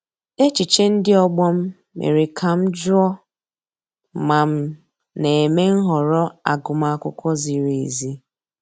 Echiche ndị ọgbọ m mere ka m jụọ ma m na-eme nhọrọ agụmakwụkwọ ziri ezi.